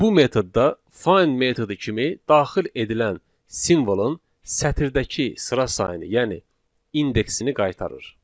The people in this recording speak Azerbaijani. Bu metodda find metodu kimi daxil edilən simvolun sətirdəki sıra sayını, yəni indeksini qaytarır.